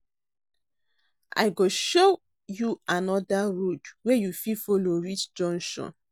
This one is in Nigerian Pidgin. I go show you anoda road wey you fit folo reach junction.